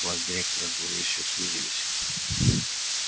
глаз директора зловеще сузились